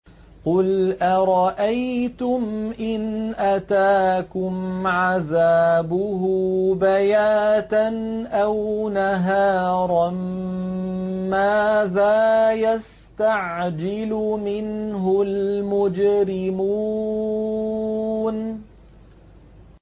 قُلْ أَرَأَيْتُمْ إِنْ أَتَاكُمْ عَذَابُهُ بَيَاتًا أَوْ نَهَارًا مَّاذَا يَسْتَعْجِلُ مِنْهُ الْمُجْرِمُونَ